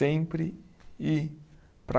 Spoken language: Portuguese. Sempre ir para